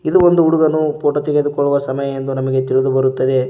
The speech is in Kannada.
ಇದು ಒಂದು ಹುಡುಗನು ಫೋಟೋ ತೆಗೆದುಕೊಳ್ಳುವ ಸಮಯ ಎಂದು ನಮಗೆ ತಿಳಿದು ಬರುತ್ತದೆ.